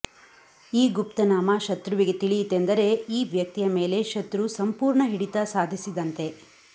ಈ ಗುಪ್ತನಾಮ ಶತ್ರುವಿಗೆ ತಿಳಿಯಿತೆಂದರೆ ಈ ವ್ಯಕ್ತಿಯ ಮೇಲೆ ಶತ್ರು ಸಂಪೂರ್ಣ ಹಿಡಿತ ಸಾಧಿಸಿದಂತೆ